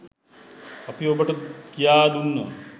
අපි ඔබට කියා දුන්න